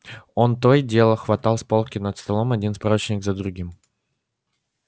он то и дело хватал с полки над столом один справочник за другим